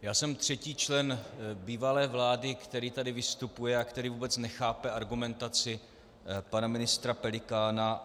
Já jsem třetí člen bývalé vlády, který tady vystupuje a který vůbec nechápe argumentaci pana ministra Pelikána.